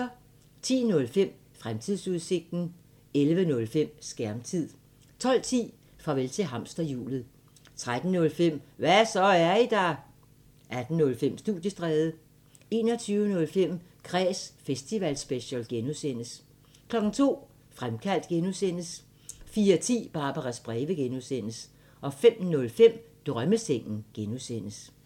10:05: Fremtidsudsigten 11:05: Skærmtid 12:10: Farvel til hamsterhjulet 13:05: Hva' så, er I der? 18:05: Studiestræde 21:05: Kræs festivalspecial (G) 02:00: Fremkaldt (G) 04:10: Barbaras breve (G) 05:05: Drømmesengen (G)